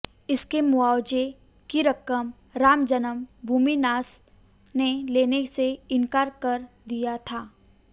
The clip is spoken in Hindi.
इसके मुवावजे की रकम राम जन्म भूमि न्यास ने लेने से इनकार कर दिया था